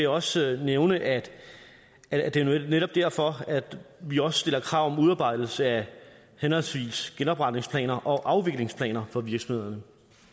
også nævne at at det netop er derfor at vi også stiller krav om udarbejdelse af henholdsvis genopretningsplaner og afviklingsplaner for virksomhederne